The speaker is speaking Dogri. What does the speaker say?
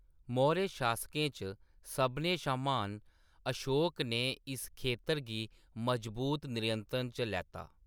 मौर्य शासकें च सभनें शा म्हान अशोक ने इस खेतर गी मजबूत नियंत्रण च लैता।